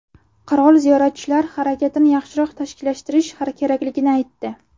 Qirol ziyoratchilar harakatini yaxshiroq tashkillashtirish kerakligini aytdi.